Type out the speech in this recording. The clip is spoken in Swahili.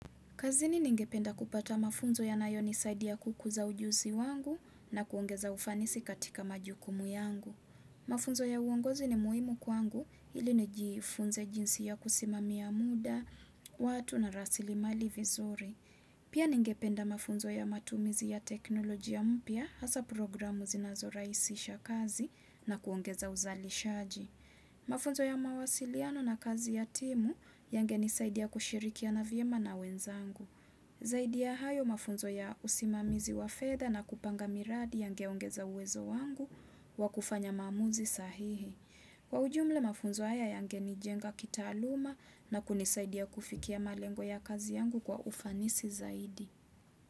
Kazini ningependa kupata mafunzo ya nayo nisaidi ya kukuza ujuzi wangu na kuongeza ufanisi katika majukumu yangu. Mafunzo ya uongozi ni muhimu kwangu ili nijifunze jinsi ya kusimamia muda, watu na rasili mali vizuri. Pia ningependa mafunzo ya matumizi ya teknoloji ya mpya hasa programu zinazoraisisha kazi na kuongeza uzali shaji. Mafunzo ya mawasiliano na kazi ya timu yange nisaidia kushirikia na viema na wenzangu. Zaidi ya hayo mafunzo ya usimamizi wa fedha na kupanga miradi yangeongeza uwezo wangu wa kufanya mamuzi sahihi. Kwa ujumla mafunzo haya yange nijenga kita aluma na kunisaidia kufikia malengo ya kazi yangu kwa ufanisi zaidi.